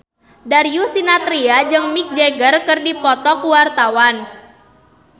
Darius Sinathrya jeung Mick Jagger keur dipoto ku wartawan